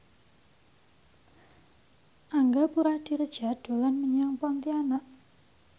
Angga Puradiredja dolan menyang Pontianak